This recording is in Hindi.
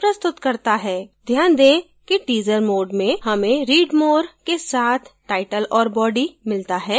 ध्यान दें कि teaser mode में हमें read more के साथ title और body मिलता है